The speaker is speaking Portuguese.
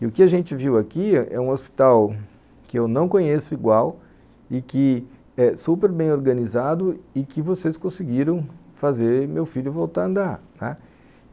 E o que a gente viu aqui é um hospital que eu não conheço igual e que é super bem organizado e que vocês conseguiram fazer meu filho voltar a andar, né.